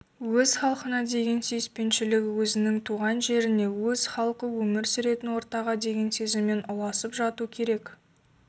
өз халқына деген сүйіспеншілігі өзінің туған жеріне өз халқы өмір сүретін ортаға деген сезіммен ұласып жату керек